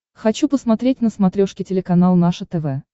хочу посмотреть на смотрешке телеканал наше тв